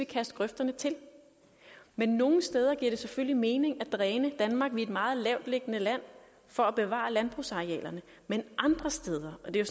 kaste grøfterne til men nogle steder giver det selvfølgelig mening at dræne danmark er et meget lavtliggende land for at bevare landbrugsarealerne men andre steder og det er